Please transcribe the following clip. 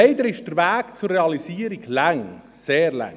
Doch leider ist der Weg zur Realisierung lang, sehr lang.